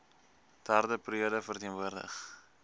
derde periode verteenwoordig